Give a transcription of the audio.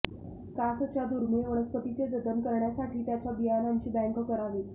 कासच्या दुर्मिळ वनस्पतींचे जतन करण्यासाठी त्याच्या बियाणांची बॅंक करावी